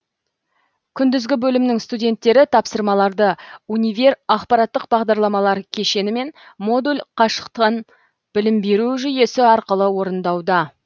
күндізгі бөлімнің студенттері тапсырмаларды универ ақпараттық бағдарламалар кешені мен модуль қашықтан білім беру жүйесі арқылы орындауда